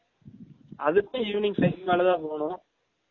அதுக்கும் evening five க்கு மேல தான் போன்னும்